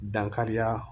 Dankariya